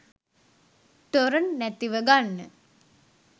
torrent නැතිව ගන්න